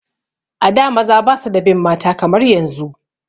A da maza ba su da bin mata kamar yanzu